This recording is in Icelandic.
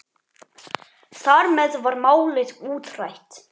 Þar með var málið útrætt.